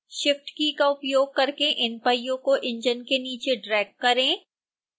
shift key का उपयोग करके इन पहियों को इंजन के नीचे ड्रैग करें